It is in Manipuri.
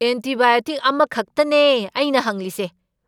ꯑꯦꯟꯇꯤꯕꯥꯏꯑꯣꯇꯤꯛ ꯑꯃꯈꯛꯇꯅꯦ ꯑꯩꯅ ꯍꯪꯂꯤꯁꯦ!